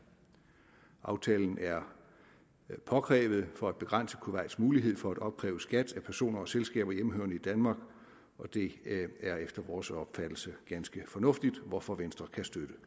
aftalen er påkrævet for at begrænse kuwaits mulighed for at opkræve skat af personer og selskaber hjemmehørende i danmark og det er efter vores opfattelse ganske fornuftigt hvorfor venstre kan støtte